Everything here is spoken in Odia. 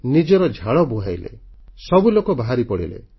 ନିଜର ଝାଳ ବୁହାଇଲେ ସବୁ ଲୋକ ବାହାରିପଡ଼ିଲେ